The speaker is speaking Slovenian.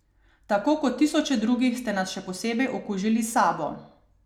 Tako kot tisoče drugih ste nas še posebej okužili s sabo.